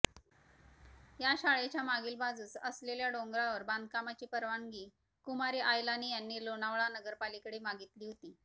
या शाळेच्या मागील बाजूस असलेल्या डोंगरावर बांधकामाची परवानगी कुमार आयलानी यांनी लोणावळा नगरपालिकेकडे मागितली होती